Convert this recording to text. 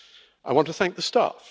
I want to thank the staff.